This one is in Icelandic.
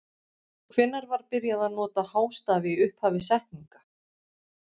Hvenær var byrjað að nota hástafi í upphafi setninga?